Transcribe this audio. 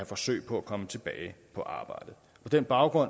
forsøg på at komme tilbage på arbejde på den baggrund